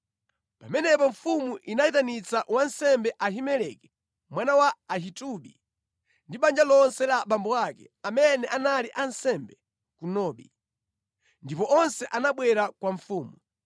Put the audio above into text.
Pamenepo mfumu inayitanitsa wansembe Ahimeleki mwana wa Ahitubi ndi banja lonse la abambo ake, amene anali ansembe ku Nobi. Ndipo onse anabwera kwa mfumu.